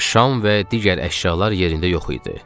Şam və digər əşyalar yerində yox idi.